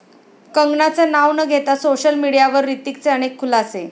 कंगनाचं नाव न घेता सोशल मीडियावर हृतिकचे अनेक खुलासे